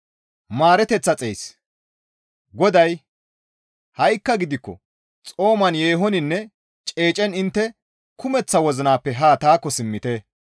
GODAY, «Ha7ikka gidikko xooman yeehoninne ceecen intte kumeththa wozinappe ha taakko simmite.